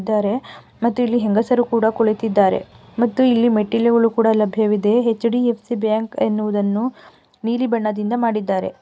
ಇದ್ದರೆ ಮತ್ತು ಇಲ್ಲಿ ಹೆಂಗಸರು ಕುಡ ಕುಳಿತ್ತಿದಾರೆ ಮತ್ತು ಇಲ್ಲಿ ಮೆಟ್ಟಿಲುಗಳು ಕುಡ ಲಭ್ಯವಿದೆ ಹೆಚ್‌ ಡಿ ಎಫ್ಸಿ ಬ್ಯಾಂಕ ಎನ್ನುವುದನ್ನು ನಿಲಿ ಬಣ್ಣದಿಂದ ಮಾಡಿದ್ದಾರೆ .